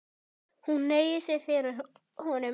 Hún hneigir sig fyrir honum.